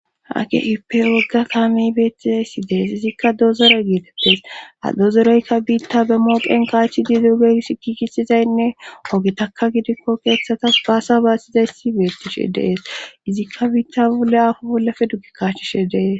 Ake ippe wogga kaamey beettizay si dees izikka doozore geeteptes a dozoreykka biitta be mooqen kaachi diduuge sikikisizaynne ogetakka gidikko keeththatas baasa baasizays si beettishe dees izikka biitta bolle aafo bollafe duggi kaachishe dees